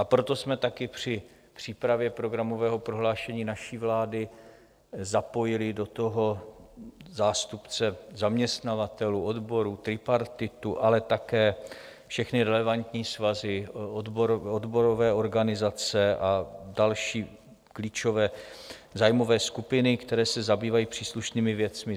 A proto jsme také při přípravě programového prohlášení naší vlády zapojili do toho zástupce zaměstnavatelů, odborů, tripartitu, ale také všechny relevantní svazy, odborové organizace a další klíčové zájmové skupiny, které se zabývají příslušnými věcmi.